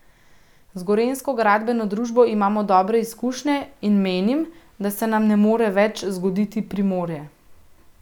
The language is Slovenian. Z Gorenjsko gradbeno družbo imamo dobre izkušnje in menim, da se nam ne more več zgoditi Primorje.